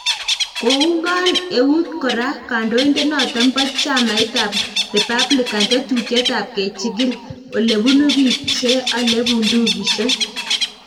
Koungon eut kora kandoindet noton bo chamait ab Republican tetutiet ab kechigil ole bunu biik che ale bundukisiek